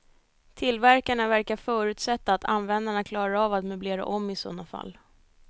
Tillverkarna verkar förutsätta att användarna klarar av att möblera om i sådana fall.